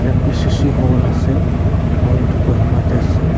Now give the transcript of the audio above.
N_B_C_C hall ase aru etu kohima te ase.